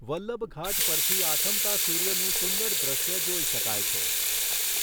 વલ્લભઘાટ પરથી આથમતા સૂર્યનું સુંદર દૃશ્ય જોઈ શકાય છે.